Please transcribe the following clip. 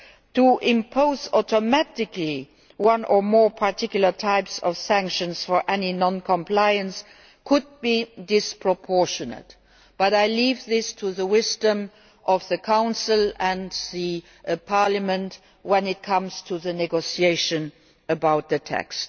To impose automatically one or more particular type of sanctions for any non compliance could be disproportionate, but I leave this to the wisdom of the Council and the Parliament when it comes to the negotiation about the text.